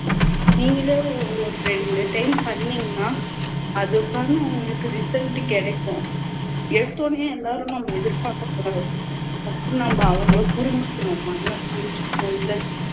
நீங்களே ஒரு ரெண்டு time பண்ணீங்கண்ணா அதுக்கான உங்களுக்கு result கிடைக்கும் எடுத்த உடனையே எல்லாரும் நம்ம எதிர்பார்க்க கூடாது first நம்ம அவங்களை புரிஞ்சிக்கணும் நம்மள